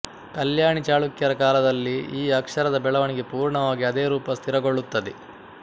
ಕಲ್ಯಾಣಿ ಚಾಳುಕ್ಯರ ಕಾಲದಲ್ಲಿ ಈ ಅಕ್ಷರದ ಬೆಳೆವಣಿಗೆ ಪೂರ್ಣವಾಗಿ ಅದೇ ರೂಪ ಸ್ಥಿರಗೊಳ್ಳುತ್ತದೆ